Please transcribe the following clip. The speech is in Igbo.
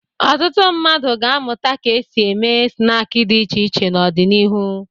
Ọtụtụ mmadụ ga-amụta ka e si eme snaakị dị iche iche n'ọdịnihu.